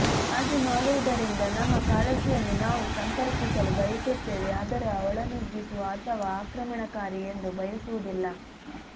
ಹಾಗೆ ಮಾಡುವುದರಿಂದ ನಮ್ಮ ಕಾಳಜಿಯನ್ನು ನಾವು ಸಂಪರ್ಕಿಸಲು ಬಯಸುತ್ತೇವೆ ಆದರೆ ಒಳನುಗ್ಗಿಸುವ ಅಥವಾ ಆಕ್ರಮಣಕಾರಿ ಎಂದು ಬಯಸುವುದಿಲ್ಲ